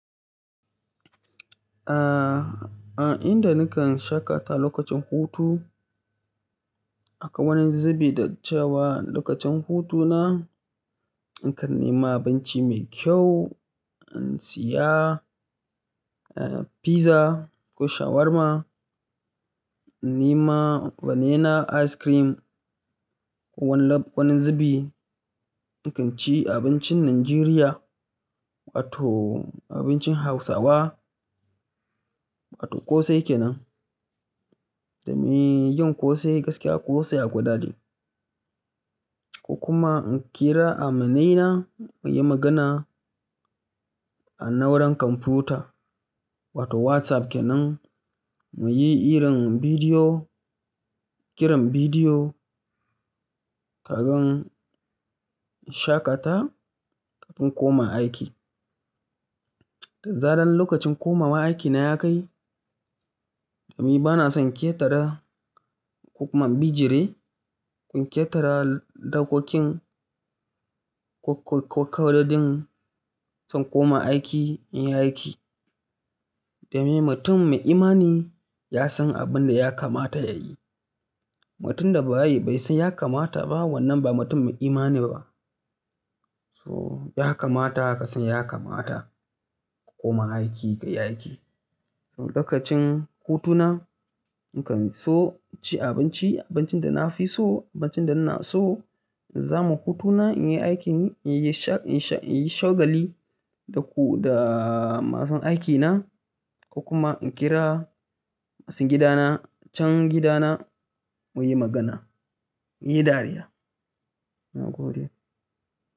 A inda nakan shaƙata lokacin hutu, aka wani zubi da cewa lokacin hutuna nakan nema abinci mai kyau in siya pizza ko shawarma, nema vanilla ice cream ko wani zube. Nakan ci abincin Najeriya wato abincin Hausawa wato ƙosai kenan. Da me yin ƙosai gaskiya ƙosai ya gwada ni. Kuma in kira amanaina muyi magana a nauran kwamfuta wato WhatsApp kenan muyi hiran bidiyo, kiran bidiyo kagan in shaƙata kafin koma aiki. Da zaran lokacin komawa aiki na ya kai, domin bana son ƙetara ko kuma bijire, ƙun ƙetara dakokin ko kawada din son koma aiki in yi aiki. Da me mutum mai imani ya san abin da ya kamata ya yi. Mutum da ba yi bai san ya kamata ba wannan ba mutum mai imani ba. So ya kamata ka san ya kamata ka koma aiki ka yi aiki. Lokacin hutuna nakan so ci abinci, abincin da na fi so, abincin da na so. Zaman hutuna in yi aikin, in yi shagali da masu aikina ko kuma in kira masu gidana can gidana muyi magana, muyi dariya.